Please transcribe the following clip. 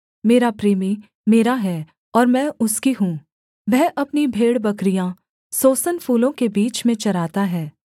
मेरा प्रेमी मेरा है और मैं उसकी हूँ वह अपनी भेड़बकरियाँ सोसन फूलों के बीच में चराता है